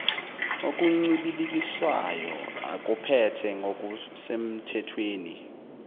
okuncibilikiswayo akuphethe ngokusenmthethweni